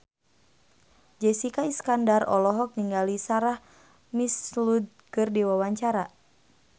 Jessica Iskandar olohok ningali Sarah McLeod keur diwawancara